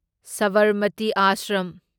Sabarmati ashram